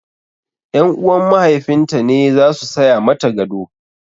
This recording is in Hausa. Ƴan uwan mahaifin ta ne zasu saya mata gado